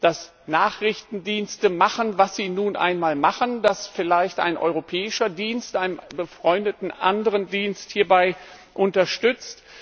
Dass Nachrichtendienste machen, was sie nun einmal machen, dass vielleicht ein europäischer Dienst einen befreundeten anderen Dienst hierbei unterstützt?